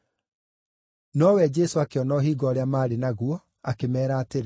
Nowe Jesũ akĩona ũhinga ũrĩa maarĩ naguo akĩmeera atĩrĩ,